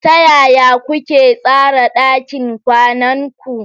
Ta yaya kuke tsara ɗakin kwanan ku?